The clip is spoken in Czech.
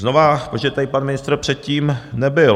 Znova, protože tady pan ministr předtím nebyl.